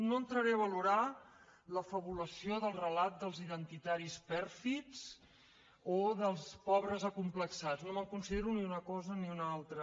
no entraré a valorar la fabulació del relat dels identitaris pèrfids o dels pobres acomplexats no em considero ni una cosa ni una altra